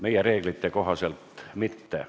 Meie reeglite kohaselt mitte.